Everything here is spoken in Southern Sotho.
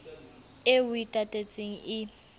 eo o e tatetseng e